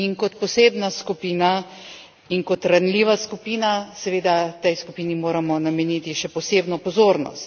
In kot posebna skupina in kot ranljiva skupina, seveda tej skupini moramo nameniti še posebno pozornost.